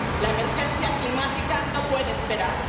La emergencia climática no puede esperar.